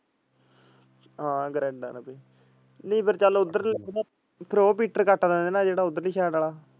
ਹਾਂ ਨੀ ਫਿਰ ਚਲ ਓਧਰ ਜਿਹੜਾ ਓਧਰ ਲੀ side ਵਾਲਾ।